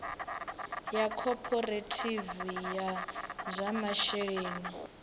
ya khophorethivi ya zwa masheleni